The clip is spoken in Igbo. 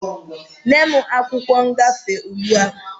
Nye m akwụkwọ ngafe ugbua!